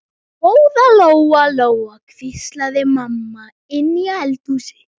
Góða Lóa Lóa, hvíslaði mamma inni í eldhúsi.